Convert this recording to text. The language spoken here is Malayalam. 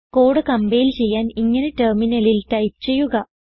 കോഡ് കംപൈൽ ചെയ്യാൻ ഇങ്ങനെ ടെർമിനലിൽ ടൈപ്പ് ചെയ്യുക